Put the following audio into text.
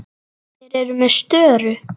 Þeir eru með störu.